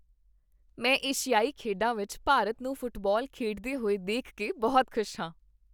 ਮੈਂ ਏਸ਼ੀਆਈ ਖੇਡਾਂ ਵਿੱਚ ਭਾਰਤ ਨੂੰ ਫੁੱਟਬਾਲ ਖੇਡਦੇ ਹੋਏ ਦੇਖ ਕੇ ਬਹੁਤ ਖੁਸ਼ ਹਾਂ।